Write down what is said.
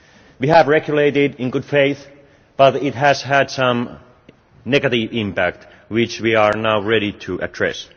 We have regulated in good faith, but it has had some negative impact, which we are now ready to address.